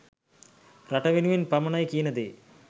රට වෙනුවෙන් පමණයි කියන දේ